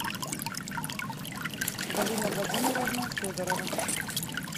галина владимировна федорова